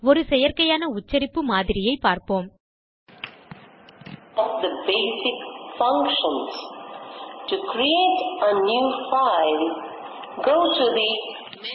ஒரு செயற்கையான உச்சரிப்பு மாதிரியைப்பார்ப்போம் of the basic function to create a new file go to the menu